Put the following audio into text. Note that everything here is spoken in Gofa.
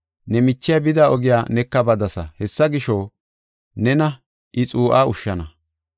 Ne michiya bida ogiya neka badasa. Hessa gisho, nena I xuu7aa ushshana.”